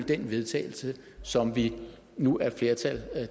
til vedtagelse som vi nu er et flertal